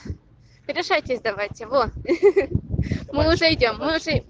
решайте сдавать его мы уже идём мы уже